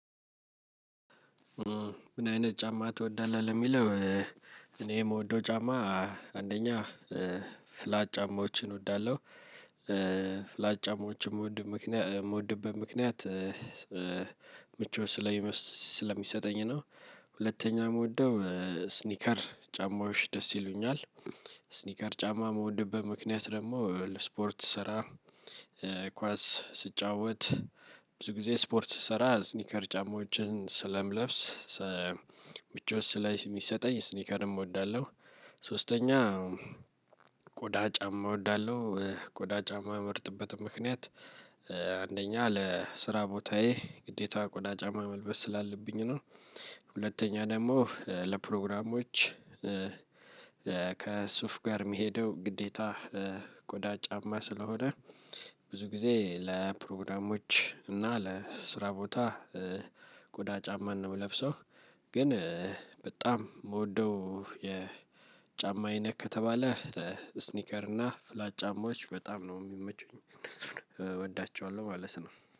ምን አይነት ጫማ ትወዳለህ ለሚለው? እኔ ምወደው ጫማ አንደኛ ፍላት ጫማዎችን እወዳለሁ ፍላት ጫማዎችን ምወድ ምክንያ ምወድበት ምክንያት ምቾት ስለሚመስ ስለሚሰጠኝ ነው። ሁለተኛ ምወደው ስኒከር ጫማዎች ደስ ይሉኛል ስኒከር ጫማ ምወድብት ምክንያት ደግሞ ለስፖርት ስራ። ኳስ ስጫወት ብዙ ጊዜ ስፖርት ስሰራ ስኒከር ጫማዎችን ስለምለብስ ሰ ምቾት ስለይስሚሰጠኝ ስኒከርም እወዳለሁ። ሶስተኛው ቆዳ ጫማ እወዳለሁ ቆዳ ጫማ ምመርጥበትም ምክንያት አንደኛ ለስራ ቦታዬ ግዴታ ቆዳ ጫማ መልበስ ስላለብኝ ነው። ሁለተኛ ደግሞ ለፕሮግራሞች ከሱፍ ጋር ሚሄደው ግዴታ ቆዳ ጫማ ስለሆነ። ብዙ ጊዜ ለፕሮግራሞች እና ለስራ ቦታ ቆዳ ጫማን ነው ምለብሰው። ግን በጣም ምወደው የጫማ አይነት ከተባለ ስኒከር እና ፍላት ጫማዎች በጣም ነው ሚመቹኝ እነሱን እወዳቸዋለሁ ማለት ነው